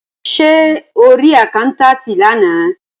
Ṣé o rí àkáńtátì lánàá.